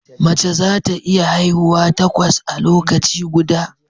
Mace za ta iya haihuwa takwas a lokaci guda